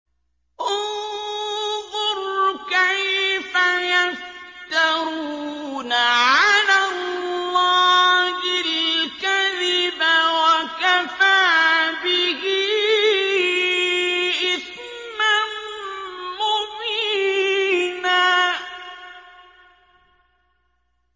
انظُرْ كَيْفَ يَفْتَرُونَ عَلَى اللَّهِ الْكَذِبَ ۖ وَكَفَىٰ بِهِ إِثْمًا مُّبِينًا